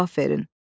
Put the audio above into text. cavab verin.